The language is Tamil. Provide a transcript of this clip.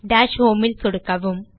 DashHomeல் சொடுக்கவும்